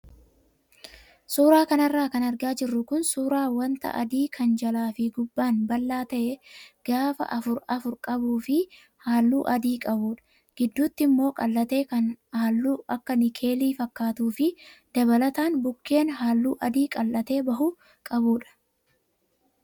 Suuraa kanarra kan argaa jirru kun suuraa wanta adii kan jalaa fi gubbaan bal'aa ta'ee gaafa afur afur qabuu fi halluu adii qabudha. Gidduutti immoo qal'atee kan halluu akka nikeelii fakkaatuu fi dabalataan bukkeen halluu adii qal'atee bahu qabudha.